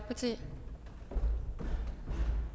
tak til